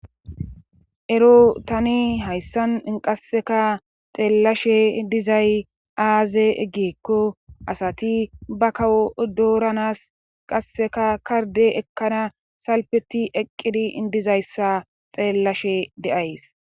Ero tani hayssan i qasseka xeellashe dizay aaze eggiekko asati ba kawo doranas qasseka karde ekkana salpeti eqqidi indizayssa xeellashe de'ays